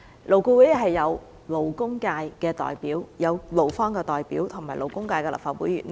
勞顧會有勞工界的代表、勞方的代表及立法會勞工界的議員。